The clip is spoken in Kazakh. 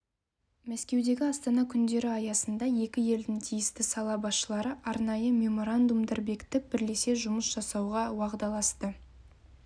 мәскеудегі астана күндері аясында екі елдің тиісті сала басшылары арнайы меморандумдар бекітіп бірлесе жұмыс жасауға уағдаласты